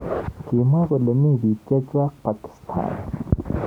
Kimwa kole mi bik. chechwak Pakisatan.